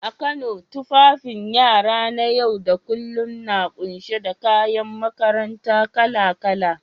A Kano, tufafin yara na yau da kullum na kunshe da kayan makaranta kala-kala.